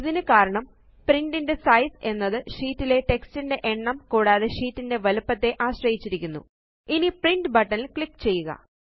ഇതിന് കാരണം പ്രിന്റ് ന്റെ സൈസ് എന്നത് ഷീറ്റിലെ സ്ലൈട്സ്ന്റെ എണ്ണം കൂടാതെ ഷീറ്റിന്റെ വലുപ്പത്തെ അശ്രയിച്ചിരിക്ക്കുന്നു